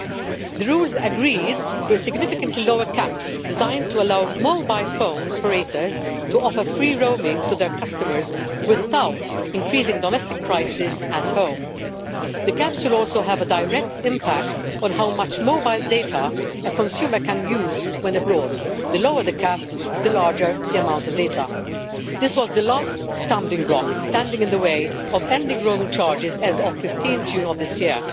The rules agreed were significantly lower caps, designed to allow mobile phone operators to offer free roaming to their customers without increasing domestic prices at home. The caps will also have a direct impact on how much mobile data a consumer can use when abroad. The lower the cap, the larger the amount of data. This was the last stumbling block standing in the way of ending roaming charges as of 15 June of this year.